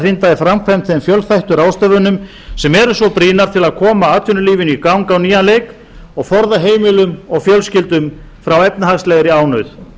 hrinda í framkvæmd þeim fjölþættu ráðstöfunum sem eru svo brýnar til að koma atvinnulífinu í gang á nýjan leik og forða heimilum og fjölskyldum frá efnahagslegri ánauð